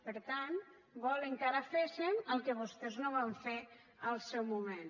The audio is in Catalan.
per tant volen que ara féssem el que vostès no van fer al seu moment